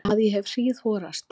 Að ég hef hríðhorast.